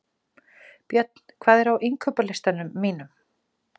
Björn, hvað er á innkaupalistanum mínum?